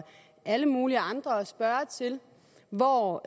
alle mulige andre at spørge til hvor